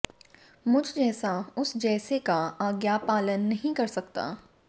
मुझ जैसा उस जैसे का आज्ञापालन नहीं कर सकता